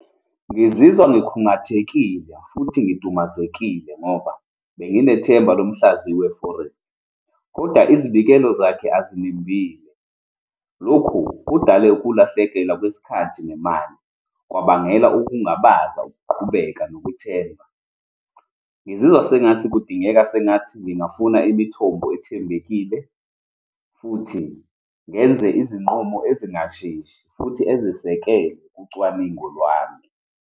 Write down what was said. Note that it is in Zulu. Ngizizwa ngikhungathekile futhi ngidumazekile ngoba benginethemba lomhlaziyi we-forex, kodwa izibikelo zakhe azinembile. Lokhu kudale ukulahlekelwa kwesikhathi nemali, kwabangela ukungabaza ukuqhubeka nokuthemba. Ngizizwa sengathi kudingeka sengathi ngingafuna imithombo ethembekile futhi ngenze izinqumo ezingasheshi futhi ezisekelwe kucwaningo lwami.